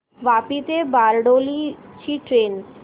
वापी ते बारडोली ची ट्रेन